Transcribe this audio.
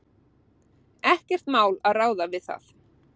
Ekkert mál að ráða við það.